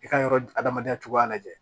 I ka yɔrɔ adamadenya cogoya lajɛ